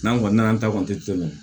N'an kɔni nana an ta kɔni tɛ tɛmɛ